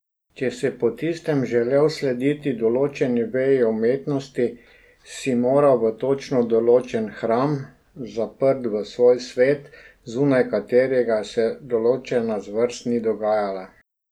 Če si po tistem želel slediti določeni veji umetnosti, si moral v točno določen hram, zaprt v svoj svet, zunaj katerega se določena zvrst ni dogajala.